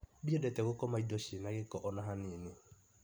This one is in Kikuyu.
Ndiendete gũkoma indi ciĩna gĩko ona hanini.